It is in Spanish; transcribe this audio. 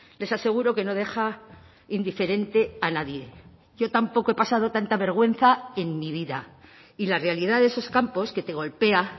les aseguro que no deja indiferente a nadie yo tampoco he pasado tanta vergüenza en mi vida y la realidad de esos campos que te golpea